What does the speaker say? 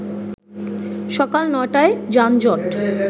সকাল ৯ টায় যানজট